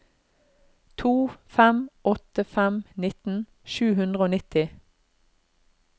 to fem åtte fem nitten sju hundre og nitti